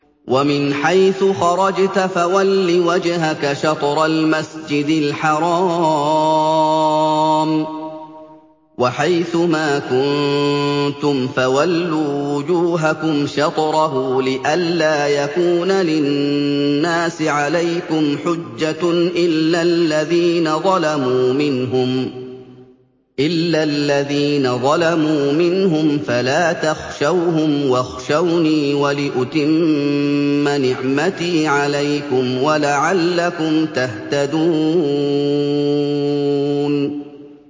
وَمِنْ حَيْثُ خَرَجْتَ فَوَلِّ وَجْهَكَ شَطْرَ الْمَسْجِدِ الْحَرَامِ ۚ وَحَيْثُ مَا كُنتُمْ فَوَلُّوا وُجُوهَكُمْ شَطْرَهُ لِئَلَّا يَكُونَ لِلنَّاسِ عَلَيْكُمْ حُجَّةٌ إِلَّا الَّذِينَ ظَلَمُوا مِنْهُمْ فَلَا تَخْشَوْهُمْ وَاخْشَوْنِي وَلِأُتِمَّ نِعْمَتِي عَلَيْكُمْ وَلَعَلَّكُمْ تَهْتَدُونَ